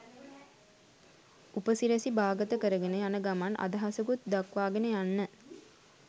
උපසිරැසි බාගත කරගෙන යන ගමන් අදහසකුත් දක්වාගෙන යන්න